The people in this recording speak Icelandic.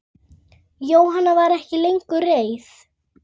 Jóhann var ekki lengur reiður.